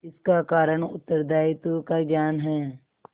इसका कारण उत्तरदायित्व का ज्ञान है